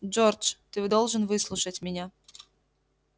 джордж ты должен выслушать меня